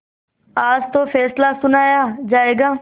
आज तो फैसला सुनाया जायगा